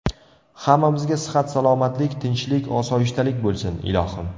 Hammamizga sihat-salomatlik, tinchlik, osoyishtalik bo‘lsin, ilohim!